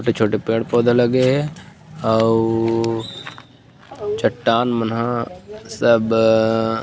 छोटे-छोटे पेड़-पौधा लगे हे आवो चट्टान मन ह सब--